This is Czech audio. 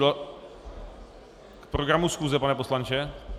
K programu schůze, pane poslanče?